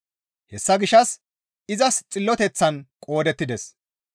Hessa gishshas izas xilloteththan qoodettides.